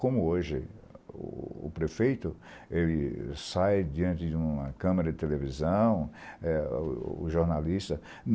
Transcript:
Como hoje o prefeito, ele sai diante de uma câmera de televisão, o jornalista.